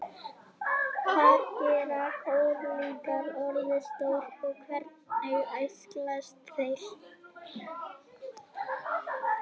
hvað geta krókódílar orðið stórir og hvernig æxlast þeir